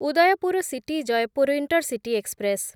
Udaipur city Jaipur intercity express